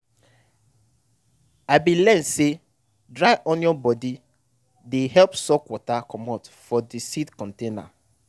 i bin learn say dry onion body dey help suck water comot for de seed container.